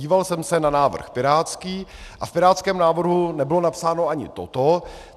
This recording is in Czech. Díval jsem se na návrh pirátský a v pirátském návrhu nebylo napsáno ani toto.